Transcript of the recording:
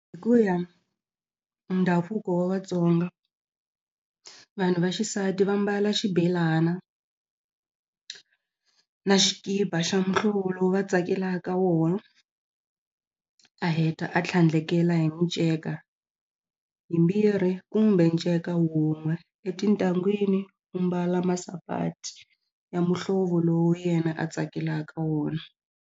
Hi ku ya hi ndhavuko wa Vatsonga vanhu va xisati va mbala xibelana na xikipa xa muhlovo lowu va tsakelaka wona a heta a tlhandlekela hi minceka yimbirhi kumbe nceka wun'we e tintangwini u mbala masapati ya muhlovo lowu yena a tsakelaka wona.